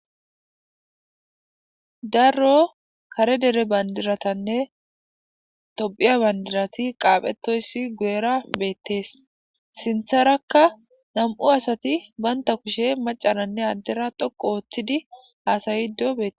darro kare dere bandiratanne tophiya bandirati qaaphetoyssi guera beettees sintharakka nam7u asati banta kushe macananne addera dhoqo ooththidi haasaydo bee